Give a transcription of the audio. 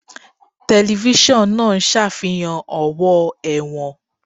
Tẹlifíṣọ̀n náà ń ṣàfihàn ọ̀wọ́ ẹ̀wọ̀n